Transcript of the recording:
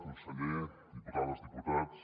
conseller diputades diputats